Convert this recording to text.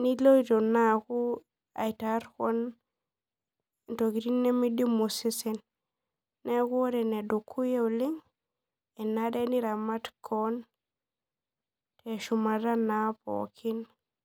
niloito naa aakubairaar keon ntokitin nimidimu osesen neaku ore enedukuya enare niramat keon